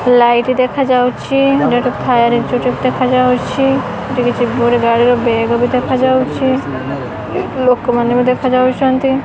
Light ଦେଖାଯାଉଛି ଏଠି ଗୋଟେ ଫାୟାର ଇନଷ୍ଟିଚ୍ୟୁଟେ ଦେଖାଯାଉଛି ଏଠି କିଛି ଗାଡିର ବେଗ ବି ଦେଖାଯାଉଛି ଲୋକମାନେ ବି ଦେଖାଯାଉଚନ୍ତି।